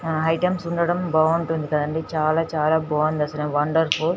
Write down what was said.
Items వుండడం బాగుంటుంది అండి చాల చాల బాగుంది అసలు వండర్ఫుల్ .